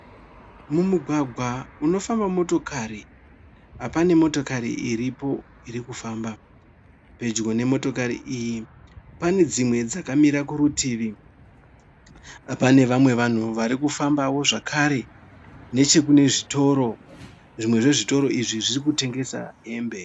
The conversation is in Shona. Mumugwagwa unofamba motokari pane motokari iripo irikufamba. Pedyo nemotokari iyi pane dzimwe dzakamira kuritivi. Pane vamwe vanhu varikufambawo, zvakare nechekune zvitoro. Zvimwe zvezvitoro izvi zvirikutengesa hembe.